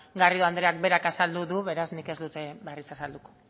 garrido andreak berak azaldu du beraz nik ez dut berriz azalduko